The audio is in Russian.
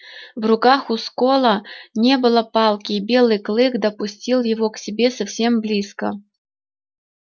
в руках у скопа не было палки и белый клык подпустил его к себе совсем близко